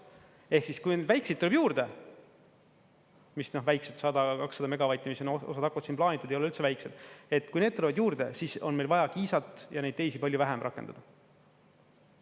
Ehk siis, kui neid väikseid tuleb juurde – mis need väiksed on, 100 või 200 megavatti, osa, mis siin plaanitud on, ei ole üldse väiksed –, kui need tulevad juurde, siis on meil vaja Kiisat ja neid teisi palju vähem rakendada.